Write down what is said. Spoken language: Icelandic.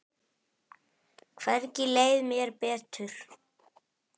Hvergi leið mér betur.